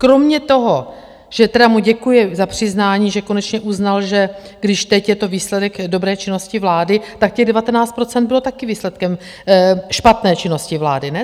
Kromě toho, že tedy mu děkuje za přiznání, že konečně uznal, že když teď je to výsledek dobré činnosti vlády, tak těch 19 % bylo taky výsledkem špatné činnosti vlády, ne?